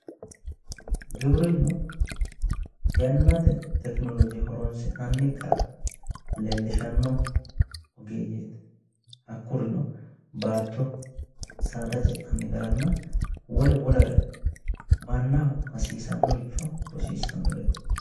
Giwirinnu yannate tekinolooje horonsi'nanni gara leellishshanno ogeeyyeeti hakkurino baatto saada ce'nanni garanna wole wolere mannaho hasiisannoricho rosiissanoreeti.